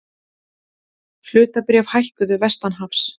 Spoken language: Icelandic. Hlutabréf hækkuðu vestanhafs